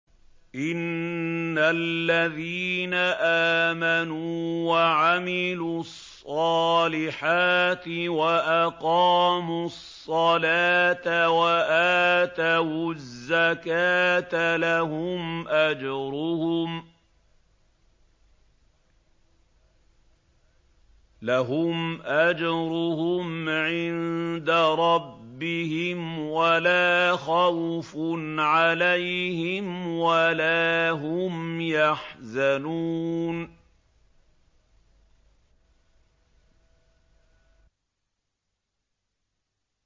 إِنَّ الَّذِينَ آمَنُوا وَعَمِلُوا الصَّالِحَاتِ وَأَقَامُوا الصَّلَاةَ وَآتَوُا الزَّكَاةَ لَهُمْ أَجْرُهُمْ عِندَ رَبِّهِمْ وَلَا خَوْفٌ عَلَيْهِمْ وَلَا هُمْ يَحْزَنُونَ